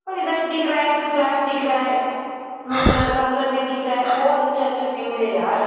पर इधर दिख रहा है। एक फ्लैग दिख रहा है ब्लू कलर का उधर भी दिख रहा है । बहोत अच्छा अच्छा व्यू है यार।